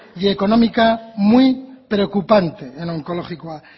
y económica muy preocupante en onkologikoa